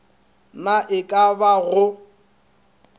na e ka ba go